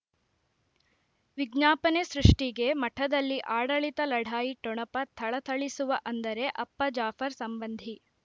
ವಿಜ್ಞಾಪನೆ ಸೃಷ್ಟಿಗೆ ಮಠದಲ್ಲಿ ಆಡಳಿತ ಲಢಾಯಿ ಠೊಣಪ ಥಳಥಳಿಸುವ ಅಂದರೆ ಅಪ್ಪ ಜಾಫರ್ ಸಂಬಂಧಿ